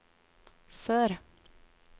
sør